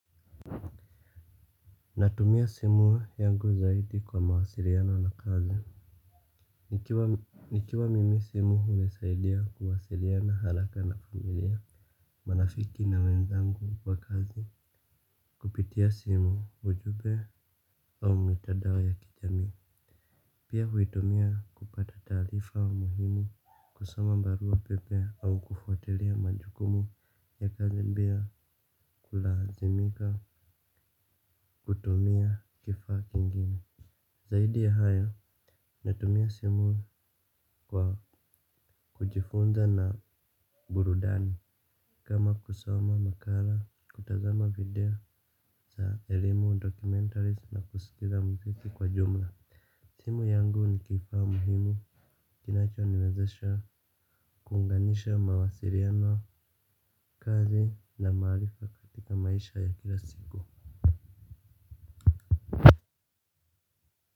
Natumia simu yangu zaidi kwa mawasiliano na kazi. Nikiwa mimi simu hunisaidia kuwasiliana haraka na familia marafiki na wenzangu kwa kazi. Kupitia simu ujumbe au mitandao ya kijami. Pia huitumia kupata taarifa muhimu kusoma barua pepe au kufuatilia majukumu ya kazi pia kulazimika kutumia kifaa kingine zaidi ya haya natumia simu kwa kujifunza na burudani kama kusoma makala kutazama video za elimu, documentaries na kusikiza muziki kwa jumla simu yangu ni kifaa muhimu kinacho niwezesha kuunganisha mawasiliano kazi na maalifa katika maisha ya kila siku.